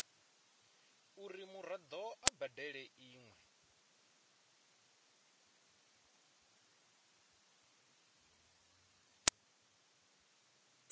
uri muraḓo a badele iṅwe